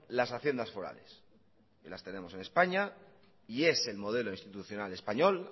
las haciendas forales y las tenemos en españa y es el modelo institucional español